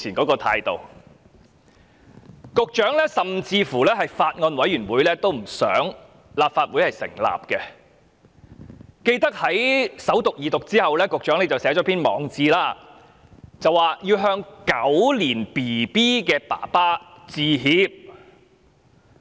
局長甚至不想立法會成立法案委員會，記得在《條例草案》首讀及二讀後，局長寫了一篇網誌，說要向"狗年嬰兒"的父親致歉。